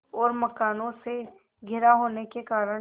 और मकानों से घिरा होने के कारण